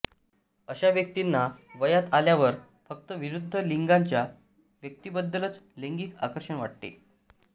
अशा व्यक्तींना वयात आल्यावर फक्त विरुद्ध लिंगाच्या व्यक्तींबद्दलच लैंगिक आकर्षण वाटते